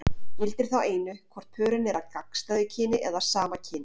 Gildir þá einu hvort pörin eru af gagnstæðu kyni eða sama kyni.